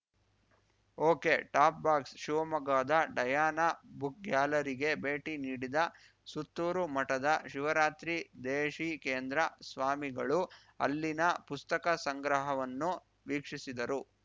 okay top box ಶಿವಮೊಗ್ಗದ Diana book ಗ್ಯಾಲರಿಗೆ ಭೇಟಿ ನೀಡಿದ ಸುತ್ತೂರು ಮಠದ ಶಿವರಾತ್ರಿ ದೇಶಿಕೇಂದ್ರ ಸ್ವಾಮಿಗಳು ಅಲ್ಲಿನ ಪುಸ್ತಕ ಸಂಗ್ರಹವನ್ನು ವೀಕ್ಷಿಸಿದರು